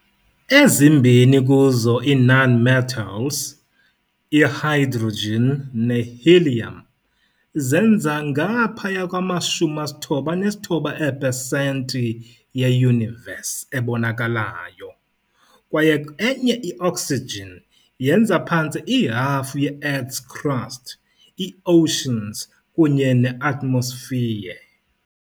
Ezimbini kuzo ii-nonmetals - i-hydrogen ne-helium - zenza ngaphaya kwama-99 ee-per cent ye-Universe, ebonakalayo kwaye enye - i-oxygen - yenza phantse ihafu ye-Earth's crust, i-oceans kunye ne-atmosphere.